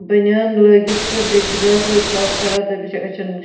.بٔنۍیان لٲگِتھ تہٕ بیٚیہِ چُھ بیٛاکھ لٔڑکہٕ اکھ کھڑاتہٕ تٔمِس چُھ أچھن